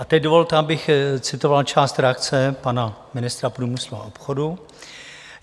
A teď dovolte, abych citoval část reakce pana ministra průmyslu a obchodu.